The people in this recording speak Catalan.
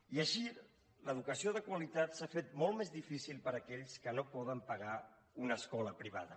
i així l’educació de qualitat s’ha fet molt més difícil per a aquells que no poden pagar una escola privada